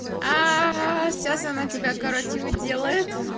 сейчас она тебя короче уделает